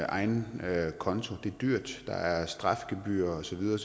egen konto det er dyrt der er strafgebyrer og så videre